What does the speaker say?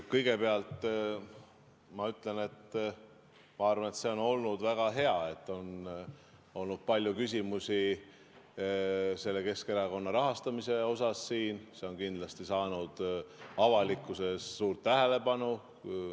Kõigepealt, ma arvan, et see on olnud väga hea, et siin on olnud palju küsimusi Keskerakonna rahastamise kohta, see on kindlasti saanud avalikkuses suurt tähelepanu.